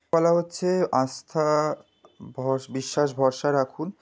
বলা হচ্ছে আস্থা ভস-- বিশ্বাস ভরসা রাখুন।